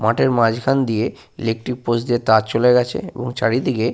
মাঠের মাঝখান দিয়ে ইলেকট্রিক পোস্ট দিয়ে তার চলে গেছে এবং চারিদিকে।